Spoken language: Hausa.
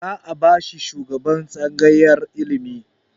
Za a bashi shugaban tsangayar ilimi